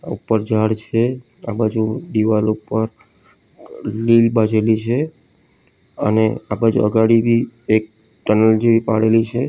ઉપર ઝાડ છે આ બાજુ દિવાલ ઉપર ક લીલ બાજેલી છે અને આ બાજુ અગાડી બી એક ટનલ જેવી પાડેલી છે.